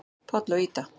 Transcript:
Páll og Ída.